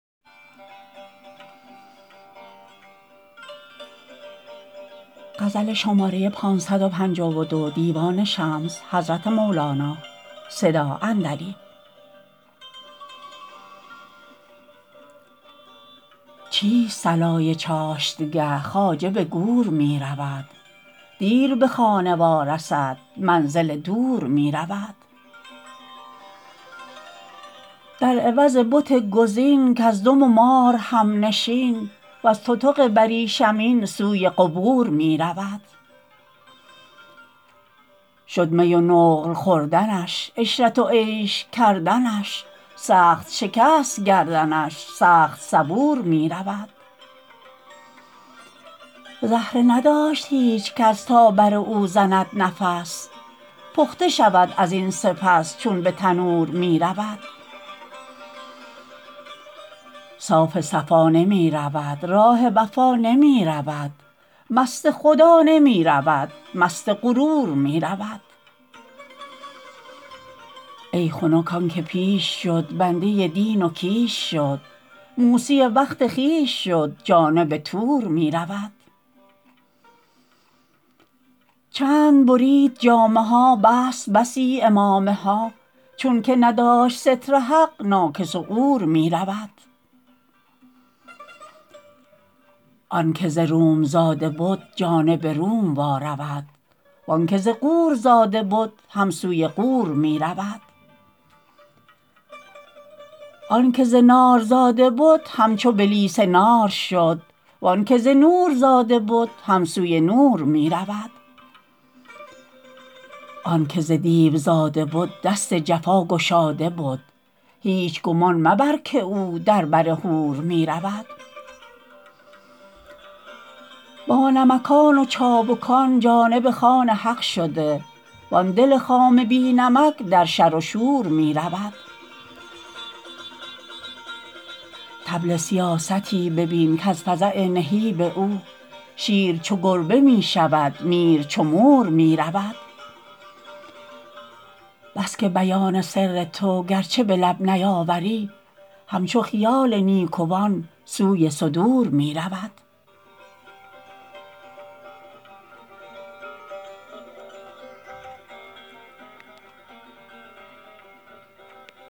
چیست صلای چاشتگه خواجه به گور می رود دیر به خانه وارسد منزل دور می رود در عوض بت گزین کژدم و مار همنشین وز تتق بریشمین سوی قبور می رود شد می و نقل خوردنش عشرت و عیش کردنش سخت شکست گردنش سخت صبور می رود زهره نداشت هیچ کس تا بر او زند نفس پخته شود از این سپس چون به تنور می رود صاف صفا نمی رود راه وفا نمی رود مست خدا نمی رود مست غرور می رود ای خنک آن که پیش شد بنده دین و کیش شد موسی وقت خویش شد جانب طور می رود چند برید جامه ها بست بسی عمامه ها چون که نداشت ستر حق ناکس و عور می رود آنک ز روم زاده بد جانب روم وارود وان که ز غور زاده بد هم سوی غور می رود آن که ز نار زاده بد همچو بلیس نار شد وان که ز نور زاده بد هم سوی نور می رود آن که ز دیو زاده بد دست جفا گشاده بد هیچ گمان مبر که او در بر حور می رود بانمکان و چابکان جانب خوان حق شده وان دل خام بی نمک در شر و شور می رود طبل سیاستی ببین کز فزع نهیب او شیر چو گربه می شود میر چو مور می رود بس که بیان سر تو گرچه به لب نیاوری همچو خیال نیکوان سوی صدور می رود